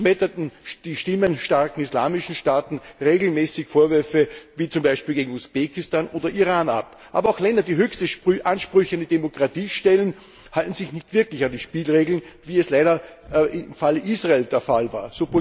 So schmetterten die stimmenstarken islamischen Staaten regelmäßig Vorwürfe wie zum Beispiel gegen Usbekistan oder Iran ab. Aber auch Länder, die höchste Ansprüche an die Demokratie stellen, halten sich nicht wirklich an die Spielregeln, wie es leider im Falle Israels der Fall war.